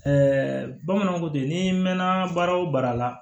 bamananw ko bi n'i mɛnna baara o baara la